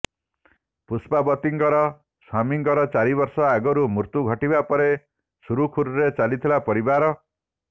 ପୁଷ୍ପାବତୀଙ୍କର ସ୍ୱାମୀଙ୍କର ଚାରି ବର୍ଷ ଆଗରୁ ମୃତ୍ୟୁ ଘଟିବା ପରେ ସୁରୁଖୁରୁରେ ଚାଲିଥିଲା ପରିବାର